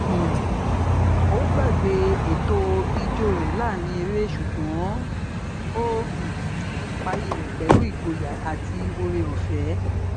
um ó gbàgbé ètò ijó rẹ láàrín ere ṣùgbọn ó um parí rẹ pẹlú ìgboyà àti oore ọfẹ